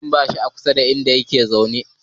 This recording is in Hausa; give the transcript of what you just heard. Tankin babur a kusa da inda ake zama yake